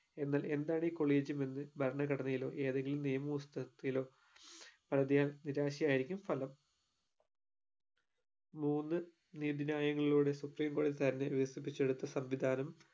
എന്നാൽ എന്താണ് ഈ collegium എന്ന് ഭരണഘടനയിലോ ഏതെങ്കിലും നിയമ പുസ്തകത്തിലോ പരതിയാൽ നിരാശ ആയിരിക്കും ഫലം മൂന്ന് നീതി ന്യായങ്ങളോട് supreme കോടതി തന്നെ വികസിപ്പിച്ചെടുത്ത സംവിധാനം